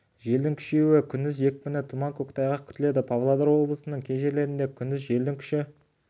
желдің күшеюі күндіз екпіні тұман көктайғақ күтіледі павлодар облысының кей жерлерінде күндіз желдің күші